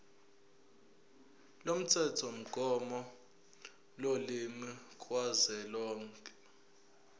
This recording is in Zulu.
lomthethomgomo wolimi kazwelonke